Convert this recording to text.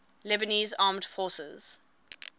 lebanese armed forces